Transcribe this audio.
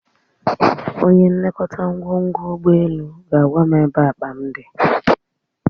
Onye nlekọta ngwongwo ụgbọelu ga-agwa m ebe akpa m dị